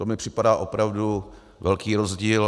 To mi připadá opravdu velký rozdíl.